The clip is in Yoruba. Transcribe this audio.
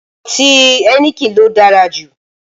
Ọtí ẹnikẹni ló dára jù